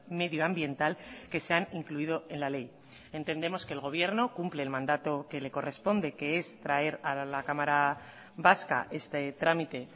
medioambiental que se han incluido en la ley entendemos que el gobierno cumple el mandato que le corresponde que es traer a la cámara vasca este trámite